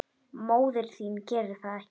Móðir þín gerir það ekki.